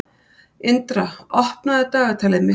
Indra, opnaðu dagatalið mitt.